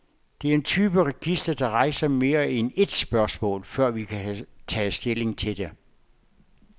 Det er en type register, der rejser mere end et spørgsmål, før vi kan tage stilling til det.